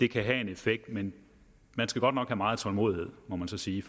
kan have en effekt men man skal godt nok have meget tålmodighed må man så sige